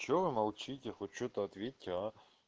что вы молчите хоть что-то ответьте а